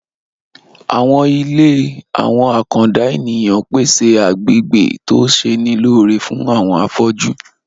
Àwọn ilé àwọn àkàndá ènìyàn ń pèsè agbegbe tó ṣe'ni lóore fún àwọn afọ́jú